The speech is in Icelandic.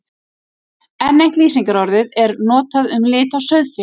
Enn eitt lýsingarorðið er notað um lit á sauðfé.